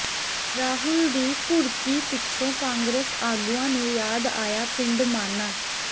ਰਾਹੁਲ ਦੀ ਘੁਰਕੀ ਪਿੱਛੋਂ ਕਾਂਗਰਸ ਆਗੂਆਂ ਨੂੰ ਯਾਦ ਆਇਆ ਪਿੰਡ ਮਾਨਾ